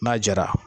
N'a jara